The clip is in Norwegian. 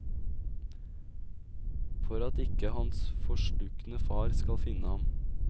For at ikke hans forslukne far skal finne ham.